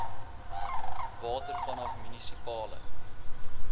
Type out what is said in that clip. water vanaf munisipale